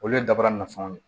Olu ye dabaara nafaw ye